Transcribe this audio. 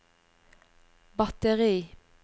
batteri